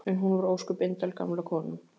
En hún var nú ósköp indæl, gamla konan.